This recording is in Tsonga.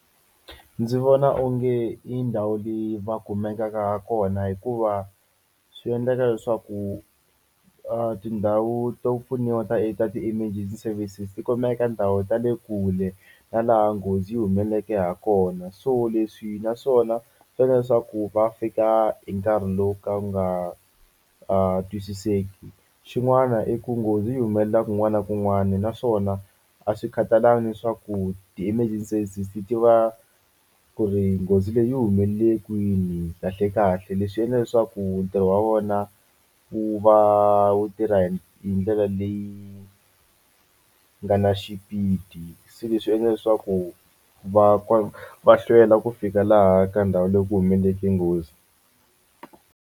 Ndzi vona onge i ndhawu leyi va kumekaka kona hikuva swi endleka leswaku a tindhawu to pfuniwa ta ta ti-emergency services ti kumeka ndhawu ta le kule na laha nghozi yi humeleleke ha kona so leswi naswona swi endla leswaku va fika hi nkarhi lowu ka wu nga twisiseki xin'wana i ku nghozi yi humelela kun'wana na kun'wana naswona a swi khatalangi leswaku ti-emergency services ti tiva ku ri nghozi leyi yi humelele kwini kahlekahle leswi endla leswaku ntirho wa vona wu va wu tirha hi ndlela leyi nga na xipidi se leswi swi endla leswaku va va hlwela ku fika laha ka ndhawu leyi ku humeleleke nghozi.